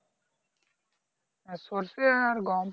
হ্যাঁ সর্ষে আর গম